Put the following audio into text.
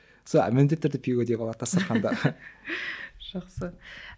сол міндетті түрде пигоди болады дастарханда жақсы